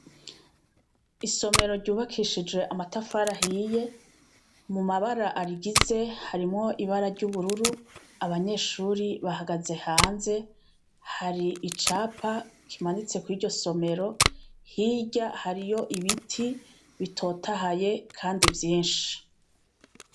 Isomero ryubakishije amatafara hiye mu mabara arigize harimwo ibara ry'ubururu abanyeshuri bahagaze hanze hari icapa kimanitse ku iryo somero hirya hariyo ibiti bitotahaye, kandi vyinshi.